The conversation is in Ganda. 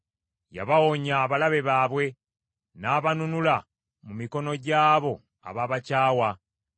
Yabawonya abalabe baabwe; n’abanunula mu mikono gy’abo ababakyawa.